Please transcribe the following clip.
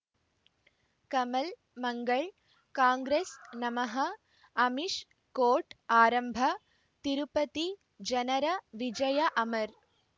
ಕಮಲ್ ಮಂಗಳ್ ಕಾಂಗ್ರೆಸ್ ನಮಃ ಅಮಿಷ್ ಕೋರ್ಟ್ ಆರಂಭ ತಿರುಪತಿ ಜನರ ವಿಜಯ ಅಮರ್